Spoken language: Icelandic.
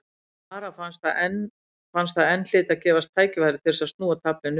Ara fannst að enn hlyti að gefast tækifæri til þess að snúa taflinu við.